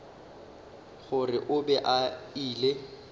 gore o be a ile